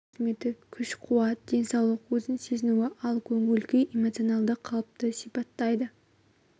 белсенділік жылдамдылық қозғалу қызметі күш қуат денсаулық өзін сезінуі ал көңіл-күй эмоцианалды қалыпты сипаттайды